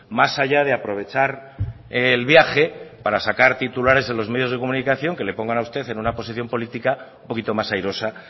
más allá de aprovechar el viaje para sacar titulares en los medios de comunicación que le pongan a usted en una posición política un poquito más airosa